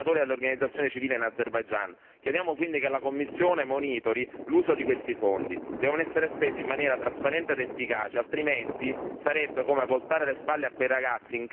Chiediamo quindi che la Commissione monitori l'uso di questi fondi. Devono essere spesi in maniera trasparente ed efficace, altrimenti sarebbe come voltare le spalle a quei ragazzi in carcere che chiedono solo un po' di dignità.